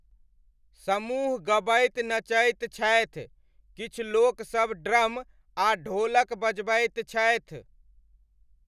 समूह गबैत नचैत छथि, किछु लोकसब ड्रम आ ढोलक बजबैत छथि।